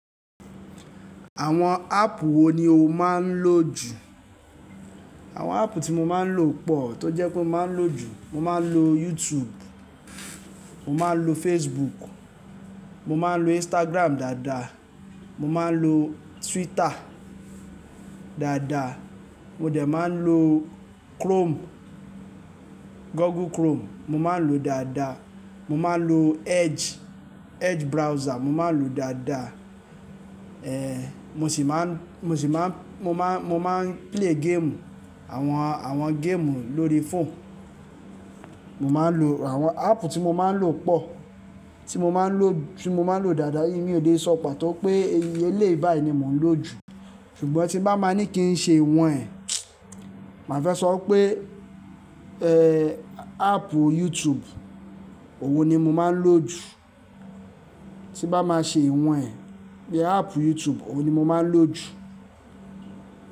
Àwọn áàpù wo ni o máa ń lò jù? Àwọn áàpù tí mo máa ń lò pọ̀ tó jẹ́ pé mo máa ń lò jù, mo máa ń lo YouTube, mo máa ń lo Facebook, mo máa ń lo Instagram dáadáa, mo máa ń lo Twitter dáadáa, mo dẹ̀ máa ń lo Chrome, Google Chrome mo máa ń lò ó dáadáa, mo máa ń lo Edge, Edge browser mo máa ń lò ó dáadáa. Ehn mo sì máa ń, mo sì máa ń, mo máa ń, mo máa ń play game, àwọn, àwọn game lórí phone. Mo máa ń lo àwọn áàpù tí mo máa ń lò pọ̀, tí mo máa ń lò, tí mo máa ń lò dáadáa. Èyí mi ò lè sọ̀pá tó pé eléyìí báyìí ni mò ń lò jù. Ṣùgbọ́n tí bá máa ní kí n ṣe wọ̀nyẹn, màá fẹ́ sọ pé eh áàpù YouTube, ọun ni mo máa ń lò jù. Tí bá máa ṣe iwọn e, bí i áàpù YouTube, òwo ni mo máa ń lò jù.